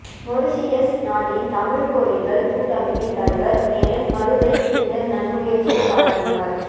Mauritius நாட்டின் தமிழ்க்கோயில்கள் கூட்டமைப்பின் தலைவர் மேனன் மருதை இந்த நன்முயற்சியைப் பாராட்டினார்